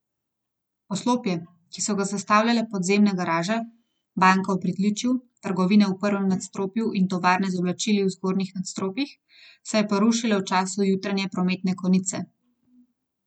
Poslopje, ki so ga sestavljale podzemna garaža, banka v pritličju, trgovine v prvem nadstropju in tovarne z oblačili v zgornjih nadstropjih, se je porušilo v času jutranje prometne konice.